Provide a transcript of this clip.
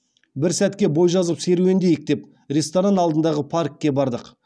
бір сәтке бой жазып серуендейік деп ресторан алдындағы паркке бардық